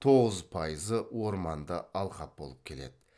тоғыз пайызы орманды алқап болып келеді